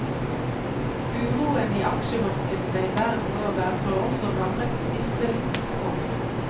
Uroen i aksjemarkedene verden over har også rammet stiftelsens fond.